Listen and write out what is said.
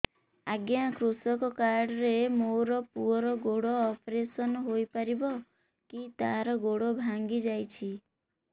ଅଜ୍ଞା କୃଷକ କାର୍ଡ ରେ ମୋର ପୁଅର ଗୋଡ ଅପେରସନ ହୋଇପାରିବ କି ତାର ଗୋଡ ଭାଙ୍ଗି ଯାଇଛ